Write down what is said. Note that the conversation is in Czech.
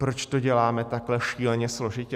Proč to děláme takhle šíleně složitě?